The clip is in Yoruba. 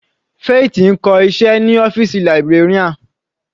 Faith ń kọ́ iṣẹ́ ní ọ́fìsì librarian.